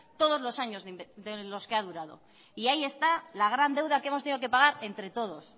todos los años de los que ha durado y ahí está la gran deuda que hemos tenido que pagar entre todos